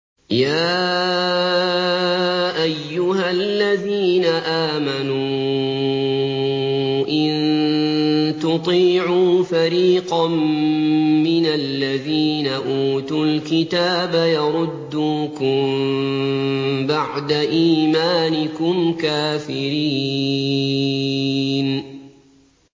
يَا أَيُّهَا الَّذِينَ آمَنُوا إِن تُطِيعُوا فَرِيقًا مِّنَ الَّذِينَ أُوتُوا الْكِتَابَ يَرُدُّوكُم بَعْدَ إِيمَانِكُمْ كَافِرِينَ